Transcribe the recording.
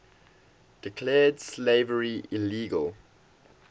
declared slavery illegal